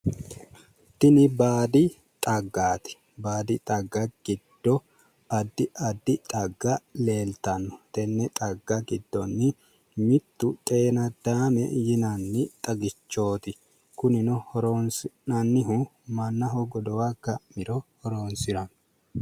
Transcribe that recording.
Tini baadi xaggaati. Baadi xagga giddo addi addi xagga leeltanno. Tenne xagga giddonni mittu xeenaddaame yinanni xagichooti. Kunino horoonsi'nannihu mannaho godowa ga'miro horoonsiranno.